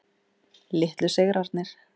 Litlu sigrarnir.